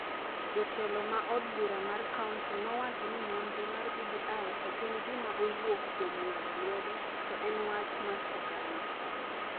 Jotelo ma od bura mar kaonti nowacho ni nonro mar BBI ok en gima owuok kuom ng’ado lwedo to en wach mar oganda.